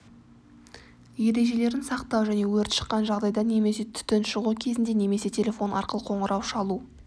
ережелерін сақтау және өрт шыққан жағдайда немесе түтін шығу кезінде немесе телефон арқылы қоңырау шалу